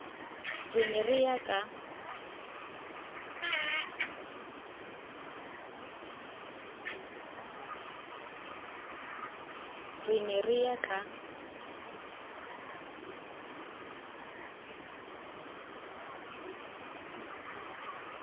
re ne re ya ka